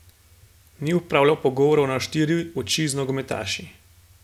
Ni opravljal pogovorov na štiri oči z nogometaši.